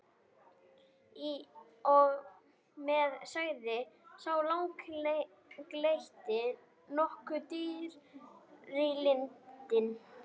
Í og með, sagði sá langleiti, nokkuð drýldinn.